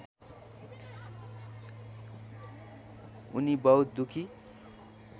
उनी बहुत दुःखी